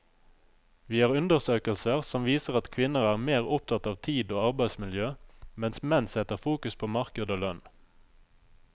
Vi har undersøkelser som viser at kvinner er mer opptatt av tid og arbeidsmiljø, mens menn setter fokus på marked og lønn.